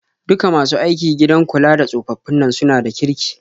Duka masu aiki gidan kula da tsofaffin nan suna da kirki.